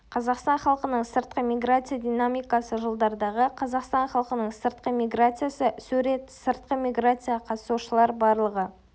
қазақстан халқының сыртқы миграция динамикасы жылдардағы қазақстан халқының сыртқы миграциясы сурет сыртқы миграцияға қатысушы лар барлығы